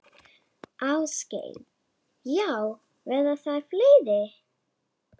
Ásgeir: Já, verða þær fleiri?